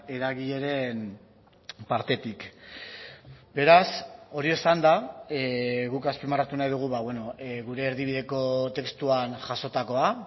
eragileren partetik beraz hori esanda guk azpimarratu nahi dugu gure erdibideko testuan jasotakoa